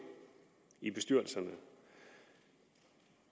i bestyrelserne